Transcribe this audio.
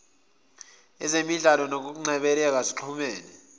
ezemidlalo nezokungcebeleka zixhumene